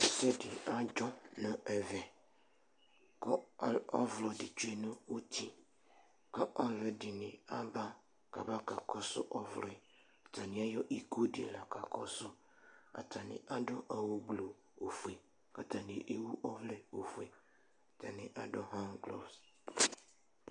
Ɛsɛ dɩ adzɔ nʋ ɛvɛ Ɔvlɔ dɩ tsue nʋ uti kʋ alʋɛdɩnɩ aba kʋ aba kakɔsʋ ɔvlɔ yɛ Atanɩ ayɔ iko dɩ la kakɔsʋ Atanɩ adʋ awʋgblu ofue kʋ atanɩ ewu ɔvlɛ ofue Atanɩ adʋ han klos